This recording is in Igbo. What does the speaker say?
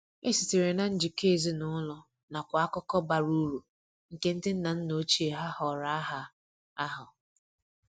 E sitere na njikọ ezinụlọ nakwa akụkọ bara uru nke ndi nna nna ochie ha họrọ aha ahụ.